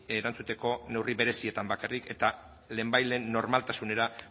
erantzuteko neurri berezietan bakarrik eta lehenbailehen normaltasunera